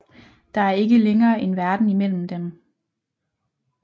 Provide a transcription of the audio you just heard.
Der er ikke længere en verden imellem dem